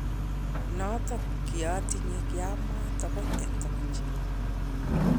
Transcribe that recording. notok kiatinye kiamwa tokoch eng tokoch.